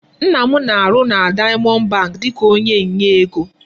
Nna m na-arụ na Diamond bank dịka onye nye ego.